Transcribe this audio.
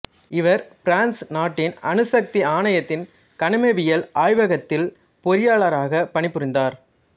இவர் பிரான்சு நாட்டின் அணுசக்தி ஆணையத்தின் கனிமவியல் ஆய்வகத்தில் பொறியாளராகப் பனிபுரிந்தார்